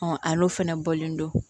a n'o fana bɔlen don